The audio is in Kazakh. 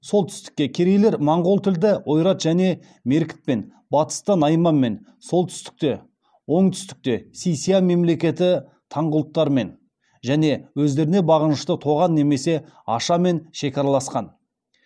солтүстікте керейлер монғол тілді ойрат және меркітпен батыста найманмен оңтүстікте си ся мемлекеті таңғұттармен және өздеріне бағынышты тоған немесе аша мен шекараласқан